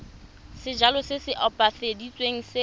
sejalo se se opafaditsweng se